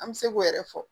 An bɛ se k'o yɛrɛ fɔ